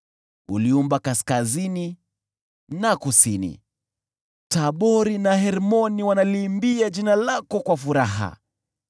Uliumba kaskazini na kusini; Tabori na Hermoni wanaliimbia jina lako kwa furaha.